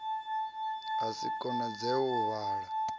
ha si konadzee u vala